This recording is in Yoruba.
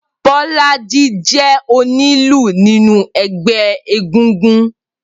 Bolaji jè ónilù ninú ẹgbẹ égúngún